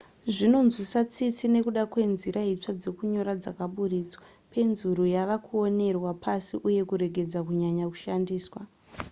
zvinonzwisa tsitsi nekuda kwenzira itsva dzekunyora dzakaburitswa penzura yavakuonerwa pasi uye kuregedza kunyanya kushandiswa